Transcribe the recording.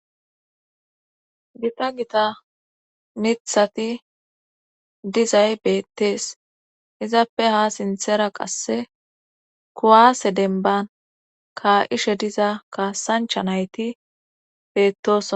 gipa gita mithati dizay beettees izappe ha sinthera qasse kuwaase denban ka7ishe diza kaasancha nayti beettoss